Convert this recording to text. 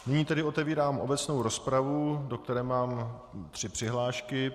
Nyní tedy otevírám obecnou rozpravu, do které mám tři přihlášky.